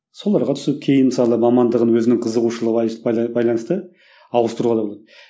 соларға түсіп кейін мысалы мамандығын өзінің қызығушылығына байланысты ауыстыруға да болады